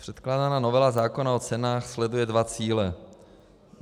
Předkládaná novela zákona o cenách sleduje dva cíle.